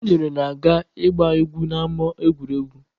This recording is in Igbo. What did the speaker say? Chinyere na-aga ịgba egwu n'ama egwuregwu.